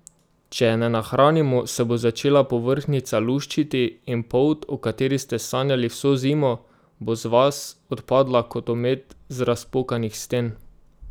Če je ne nahranimo, se bo začela povrhnjica luščiti in polt, o kateri ste sanjali vso zimo, bo z vas odpadla kot omet z razpokanih sten.